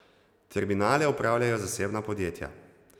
Terminale upravljajo zasebna podjetja.